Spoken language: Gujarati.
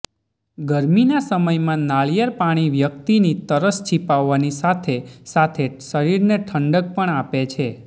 ગરમીના સમયમાં નાળિયેર પાણી વ્યક્તિની તરસ છીપાવવાની સાથે સાથે શરીરને ઠંડક પણ આપે છે